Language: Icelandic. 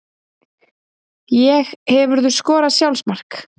Ég Hefurðu skorað sjálfsmark?